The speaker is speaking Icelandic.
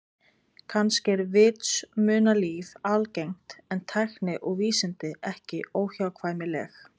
Kannski er vitsmunalíf algengt en tækni og vísindi ekki óhjákvæmileg.